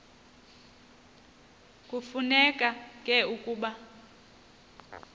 kufuneka ke ukuba